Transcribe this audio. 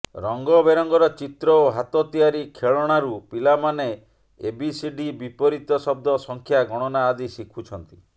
ରଙ୍ଗବେରଙ୍ଗର ଚିତ୍ର ଓ ହାତ ତିଆରି ଖେଳଣାରୁ ପିଲାମାନେ ଏବିସିଡି ବିପରୀତ ଶବ୍ଦ ସଂଖ୍ୟା ଗଣନା ଆଦି ଶିଖୁଛନ୍ତି